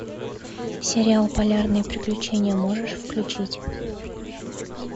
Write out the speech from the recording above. сериал полярные приключения можешь включить